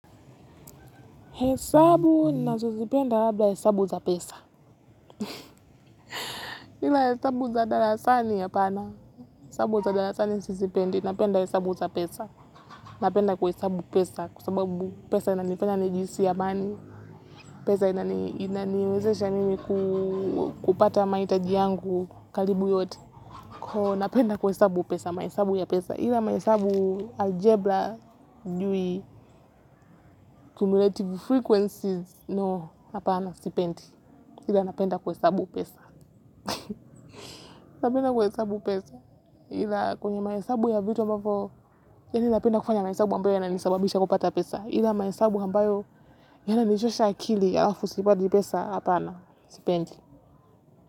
Hesabu, nazosipenda labda hesabu za pesa. Hila hesabu za dalasani ya pana, hesabu za dalasani sisipendi, napenda hesabu za pesa. Napenda kuhesabu pesa, kwa sababu pesa inaniwezesha mimi kupata maitaji yangu, kalibu yote. Napenda kuhesabu pesa. Hila mahesabu algebra, jui cumulative frequencies, no, napenda kwa hesabu. Ila napenda kuhesabu pesa napenda kuhesabu pesa ila kwenye maesabu ya vitu ambapo yanilapenda kufanya maesabu ambayo yananisababisha kupata pesa ila maesabu ambayo yananichosha akili alafu sipati pesa apana sipendi.